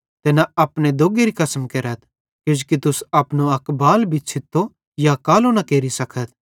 ते न अपने दोग्गेरी कसम केरथ किजोकि तुस अपनो अक बाल भी छ़ित्तो या कालो न केरि सकथ